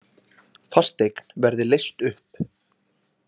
Fasteign verði leyst upp